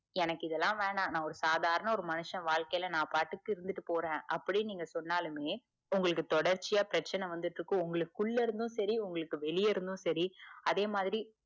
எனக்கு இதலாம் வேணாம் நான் ஒரு சாதாரண மனுஷன் வாழ்க்கைல இருதுட்டு போறேன் அப்புடின்னு சொன்னாலுமே உங்களுக்குதொடர்ச்சியா பிரச்சனைவந்துட்டு இருக்கும் உங்களுக் குள்ள இருந்தும் செரி உங்களுக்கு வெளிய இருந்தும் செரிஅதே மாதிரி